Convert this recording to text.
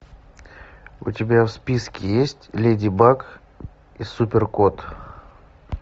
у тебя в списке есть леди баг и супер кот